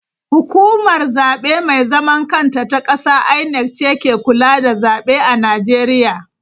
Hukumar Zabe Mai Zaman Kanta ta Kasa (INEC) ce ke kula da zabe a Najeriya..